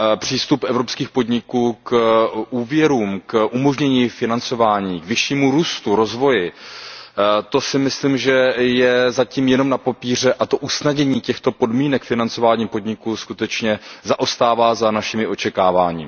Přístup evropských podniků k úvěrům, k umožnění financování, k vyššímu růstu a rozvoji si myslím, že je zatím jen na papíře, a to usnadnění podmínek financování podniků skutečně zaostává za našimi očekáváními.